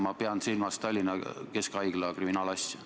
Ma pean silmas Tallinna keskhaiglaga seotud kriminaalasja.